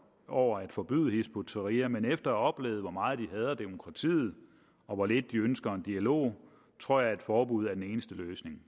over at forbyde hizb ut tahrir men efter at have oplevet hvor meget de hader demokratiet og hvor lidt de ønsker en dialog tror jeg at forbud er den eneste løsning